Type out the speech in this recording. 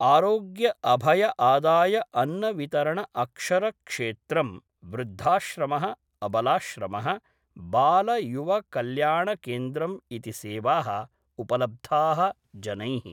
आरोग्यअभयआदायअन्नवितरणअक्षरक्षेत्रं वृद्धाश्रमः अबलाश्रमः बालयुवकल्याणकेन्द्रम् इति सेवाः उपलब्धाः जनैः